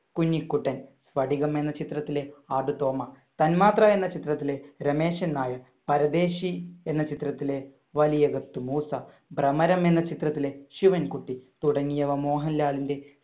കുഞ്ഞിക്കുട്ടൻ, സ്പടികം എന്ന ചിത്രത്തിലെ ആടുതോമ, തന്മാത്ര എന്ന ചിത്രത്തിലെ രമേശൻ നായർ, പരദേശി എന്ന ചിത്രത്തിലെ വലിയകത്ത് മൂസ, ഭ്രമരം എന്ന ചിത്രത്തിലെ ശിവൻകുട്ടി തുടങ്ങിയവ മോഹൻലാലിന്‍റെ